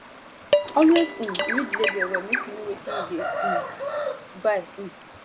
always um read label well make you know wetin you dey um buy um